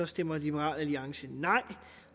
stemmer liberal alliance nej